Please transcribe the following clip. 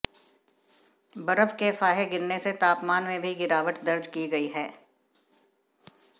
बर्फ के फाहे गिरने से तापमान में भी गिरावट दर्ज की गई है